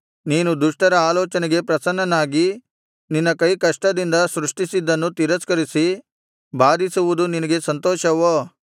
ನೀನು ದುಷ್ಟರ ಆಲೋಚನೆಗೆ ಪ್ರಸನ್ನನಾಗಿ ನಿನ್ನ ಕೈಕಷ್ಟದಿಂದ ಸೃಷ್ಟಿಸಿದ್ದನ್ನು ತಿರಸ್ಕರಿಸಿ ಬಾಧಿಸುವುದು ನಿನಗೆ ಸಂತೋಷವೋ